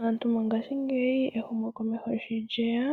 Aantu mongashingeyi ehumokomeho sho lyeya